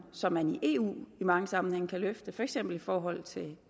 som man i eu i mange sammenhænge kan sætte for eksempel i forhold til